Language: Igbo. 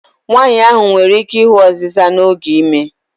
Nwanyị ahụ nwere ike ịhụ ọzịza n'oge ime.